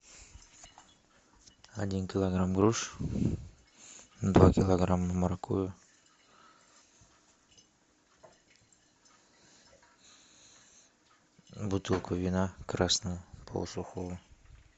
один килограмм груш два килограмма моркови бутылку вина красного полусухого